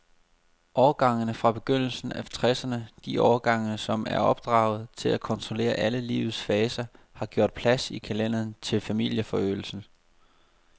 Årgangene fra begyndelsen af tresserne, de årgange, som er opdraget til at kontrollere alle livets faser, har gjort plads i kalenderen til familieforøgelse.